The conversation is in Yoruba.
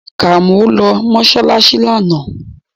Kàmọ́ lọ mọ́ṣáláṣí lánàá